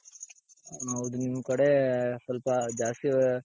ಹೌದು ನಿಮ್ ಕಡೆ ಸ್ವಲ್ಪ ಜಾಸ್ತಿ